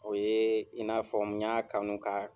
O ye i n'a fɔ n y'a kanu k'a